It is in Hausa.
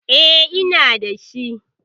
E, ina da shi.